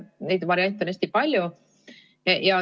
Neid variante on hästi palju.